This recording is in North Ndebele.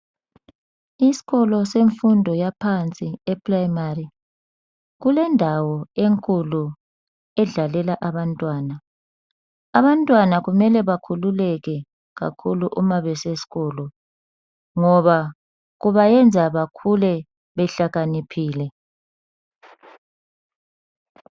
Isikolo semfundo yaphansi yeprimari kulendawo enkulu edlalela abantwana , abantwana kumele bakhululeke kakhulu nxa besesikolo ngoba kubayenza bakhule behlakaniphile .